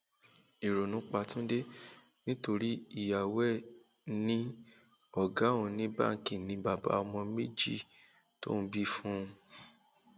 ìrònú pa túnde nítorí ìyàwó ẹ ní ọgá òun ní báǹkì ni bàbá ọmọ méjì tóun bí fún un